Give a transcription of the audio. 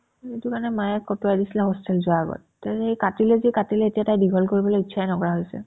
সেটো কাৰণে মায়ে কটোৱাই দিছিলে hostel যোৱাৰ আগত তাই সেই কাটিলে যি কাটিলে এতিয়া তাই দীঘল কৰিবলে ইচ্ছাই নকৰা হৈছে